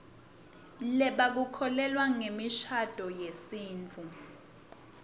lebaku kholelwa nzemishaduo yesitfu